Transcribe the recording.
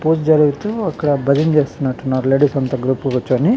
పూజ్ జరుగుతూ అక్కడ భజన చేస్తునట్టు ఉన్నారు. లేడీస్ అంతా గ్రూప్ గా కూర్చొని.